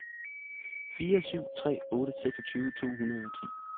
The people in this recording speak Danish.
fire syv tre otte seksogtyve to hundrede og ti